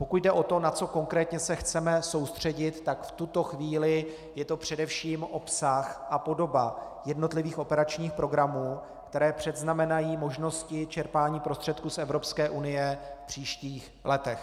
Pokud jde o to, na co konkrétně se chceme soustředit, tak v tuto chvíli je to především obsah a podoba jednotlivých operačních programů, které předznamenají možnosti čerpání prostředků z Evropské unie v příštích letech.